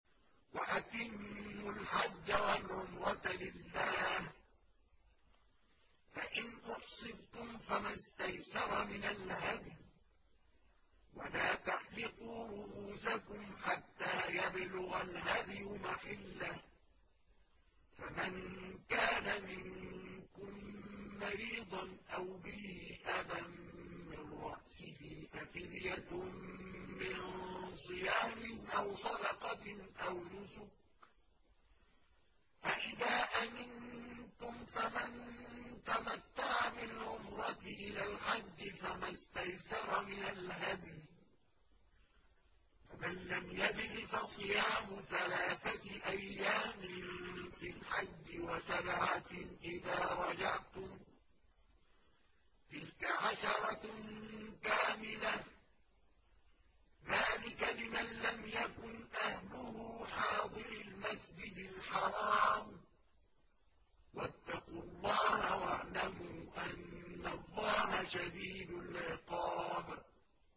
وَأَتِمُّوا الْحَجَّ وَالْعُمْرَةَ لِلَّهِ ۚ فَإِنْ أُحْصِرْتُمْ فَمَا اسْتَيْسَرَ مِنَ الْهَدْيِ ۖ وَلَا تَحْلِقُوا رُءُوسَكُمْ حَتَّىٰ يَبْلُغَ الْهَدْيُ مَحِلَّهُ ۚ فَمَن كَانَ مِنكُم مَّرِيضًا أَوْ بِهِ أَذًى مِّن رَّأْسِهِ فَفِدْيَةٌ مِّن صِيَامٍ أَوْ صَدَقَةٍ أَوْ نُسُكٍ ۚ فَإِذَا أَمِنتُمْ فَمَن تَمَتَّعَ بِالْعُمْرَةِ إِلَى الْحَجِّ فَمَا اسْتَيْسَرَ مِنَ الْهَدْيِ ۚ فَمَن لَّمْ يَجِدْ فَصِيَامُ ثَلَاثَةِ أَيَّامٍ فِي الْحَجِّ وَسَبْعَةٍ إِذَا رَجَعْتُمْ ۗ تِلْكَ عَشَرَةٌ كَامِلَةٌ ۗ ذَٰلِكَ لِمَن لَّمْ يَكُنْ أَهْلُهُ حَاضِرِي الْمَسْجِدِ الْحَرَامِ ۚ وَاتَّقُوا اللَّهَ وَاعْلَمُوا أَنَّ اللَّهَ شَدِيدُ الْعِقَابِ